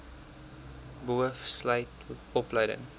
boov sluit opleiding